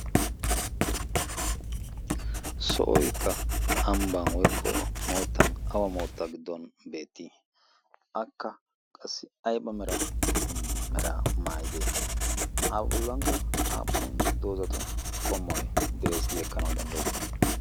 Sohoykka ambban/moottan awa moottan giddon beettii? Akka qassi ayba meraa maayidee? A bollankka aappun doozatu qommoy de'ees gi ekkanawu danddayettii?